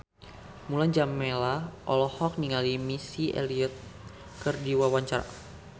Mulan Jameela olohok ningali Missy Elliott keur diwawancara